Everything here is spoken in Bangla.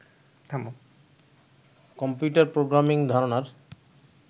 কম্পিউটার প্রোগ্রামিং ধারণার